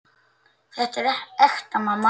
Þetta er ekta mamma!